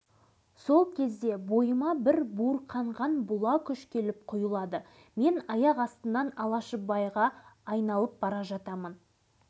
ұзын бойлы қапсағай денелі бұлшық еттері буыршық атқан алаш ағам маған бірде мейірлене ақылын айтып бірде қабағын түйе